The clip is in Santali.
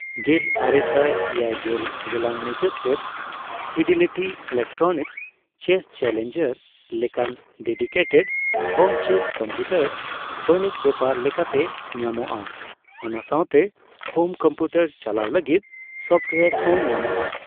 ᱜᱮᱞᱟᱨᱮᱥᱟᱭ ᱮᱭᱟᱭᱜᱮᱞ ᱜᱮᱞᱟᱝ ᱢᱩᱪᱟᱹᱫ ᱥᱮᱫ, ᱯᱷᱤᱰᱮᱞᱤᱴᱤ ᱤᱞᱮᱠᱴᱨᱚᱱᱤᱠᱥ ᱪᱮᱹᱥ ᱪᱮᱞᱮᱧᱡᱟᱨ ᱞᱮᱠᱟᱱ ᱰᱮᱰᱤᱠᱮᱴᱮᱰ ᱦᱳᱢ ᱪᱮᱹᱥ ᱠᱚᱢᱯᱤᱭᱩᱴᱟᱨ ᱵᱟᱹᱱᱤᱡᱽ ᱵᱮᱯᱟᱨ ᱞᱮᱠᱟᱛᱮ ᱧᱟᱢᱚᱜᱼᱟ, ᱚᱱᱟ ᱥᱟᱣᱛᱮ ᱦᱳᱢ ᱠᱚᱢᱯᱤᱭᱩᱴᱟᱨ ᱪᱟᱞᱟᱣ ᱞᱟᱹᱜᱤᱫ ᱥᱚᱯᱷᱴᱳᱣᱟᱨ ᱦᱚᱸ ᱧᱟᱢᱚᱜᱼᱟ ᱾